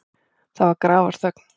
Það varð grafarþögn.